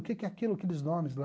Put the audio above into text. O que que é aquilo, aqueles nomes lá?